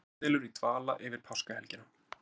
Kjaradeilur í dvala yfir páskahelgina